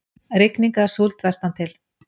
Rigning eða súld vestantil